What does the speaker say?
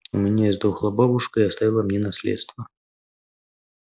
у меня издохла бабушка и оставила мне наследство